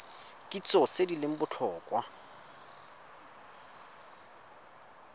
kitso tse di leng botlhokwa